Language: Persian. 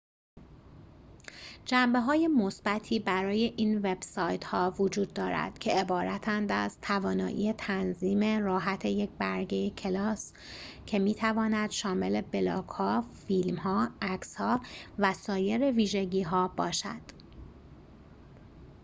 جنبه های مثبتی برای این وب سایت ها وجود دارد که عبارتند از توانایی تنظیم راحت یک برگه کلاس که می تواند شامل بلاگ ها فیلم ها عکس ها و سایر ویژگی ها باشد